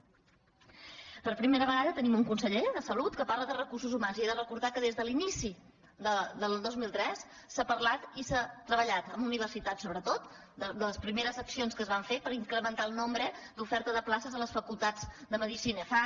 per primera vegada tenim un conseller de salut que parla de recursos humans i he de recordar que des de l’inici del dos mil tres s’ha parlat i s’ha treballat amb universi·tats sobretot de les primeres accions que es van fer per incrementar el nombre d’oferta de places a les facultats de medicina